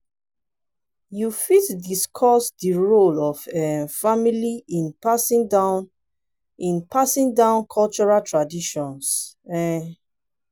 you fit discuss di role of um family in passing down in passing down cultural traditions? um